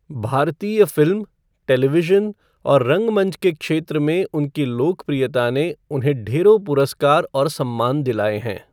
भारतीय film, television और रंगमंच के क्षेत्र में उनकी लोकप्रियता ने उन्हें ढेरों पुरस्कार और सम्मान दिलाए हैं।